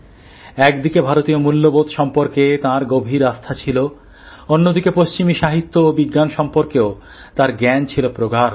একদিকে ভারতীয় মূল্যবোধ সম্পর্কে তার গভীর আস্থা ছিল অন্যদিকে পশ্চিমী সাহিত্য ও বিজ্ঞান সম্পর্কেও তাঁর জ্ঞান ছিল প্রগাঢ়